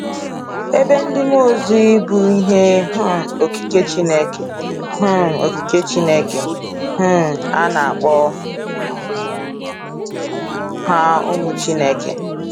Ebe ndị mmụọ ozi bụ ihe um okike Chineke, um okike Chineke, um a na-akpọ ha ụmụ Chineke.